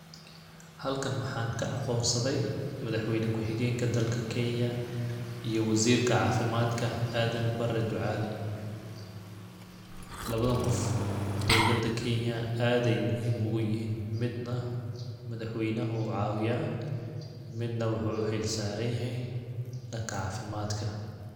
Halkan waxa aan ka aqoon saday madaxweyna ku xigeenka dalka kenya iyo waziirka cafimaadka Aden Bare Ducal ,lawadan qof dowlada kenya aad ay muhiim ugu yhiin ,midna madaxweynaha ayuu caawiyaa midna waxuu uxil saran yahay dhanka cafimaadka.